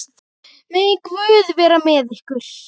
Megi Guð vera með ykkur.